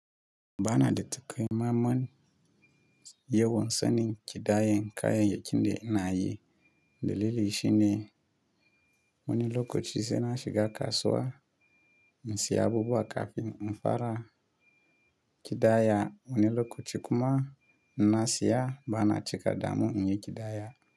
Ba na da takamanman yawan sanin kidayen kayanyaki da inayi. Dalili shi ne wani lokaci sai na shiga kasuwa in siya abubuwa kafin in fara kida ya. Wani lokaci kuma na siya ba na cika damu in yi kidaya.